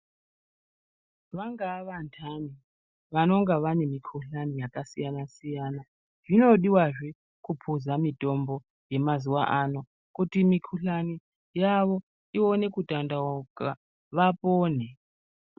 Vangava vandani vangava vane mikuhlani yakasiyana-siyana zvinodiwa zve kupuza mitombo yemazuva ano kuti mikuhlani yavo ione kutandauka vapone.